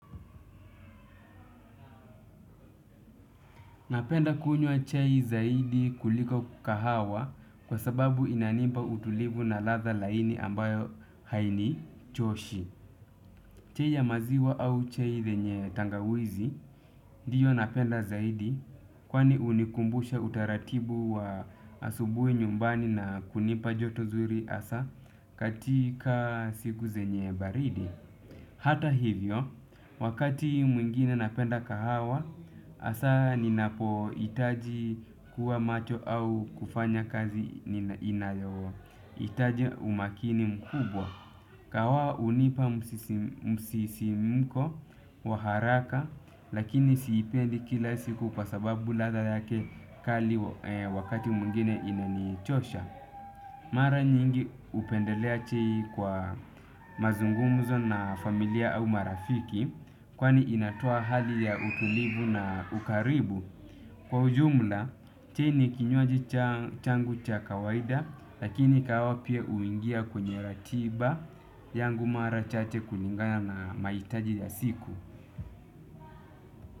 Napenda kunywa chai zaidi kuliko kahawa kwa sababu inanipa utulivu na ladha laini ambayo hainichoshi. Chai ya maziwa au chai zenye tangawizi ndiyo napenda zaidi kwani hunikumbusha utaratibu wa asubuhi nyumbani na kunipa joto zuri hasa katika siku zenye baridi. Hata hivyo, wakati mwingine napenda kahawa, hasa ninapo hitaji kuwa macho au kufanya kazi inayo hitaji umakini mkubwa. Kahawa unipa msisimko wa haraka lakini siipendi kila siku kwa sababu ladha yake kali wakati mwingine inanichosha. Mara nyingi hupendelea chai kwa mazungumuzo na familia au marafiki kwani inatoa hali ya utulivu na ukaribu. Kwa ujumla, chai ni kinywaji changu cha kawaida lakini kahawa pia uingia kwenye ratiba yangu mara chache kulingana na mahitaji ya siku.